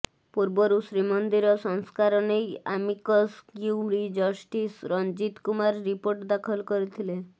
ପୂର୍ବରୁ ଶ୍ରୀମନ୍ଦିର ସଂସ୍କାର ନେଇ amicus curiae justice Ranjit Kumar report ଦାଖଲ କରିଥିଲେ